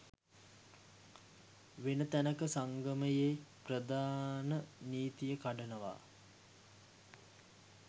වෙන තැනක සංගමයේ ප්‍රධාන නීතිය කඩනවා